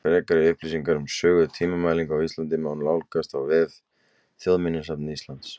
Frekari upplýsingar um sögu tímamælinga á Íslandi má nálgast á vef Þjóðminjasafns Íslands.